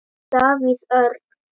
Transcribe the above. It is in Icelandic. Davíð Örn.